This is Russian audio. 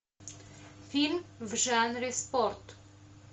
фильм в жанре спорт